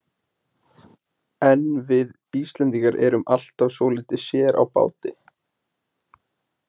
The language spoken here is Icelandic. En við Íslendingar erum alltaf svolítið sér á báti.